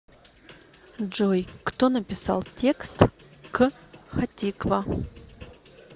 джой кто написал текст к хатиква